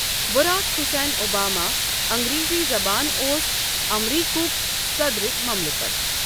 Barack Hussein Obama اَنٖگرَیزی زَبانَ اوس اَمریکُہک صَدرِ مَملِکَت۔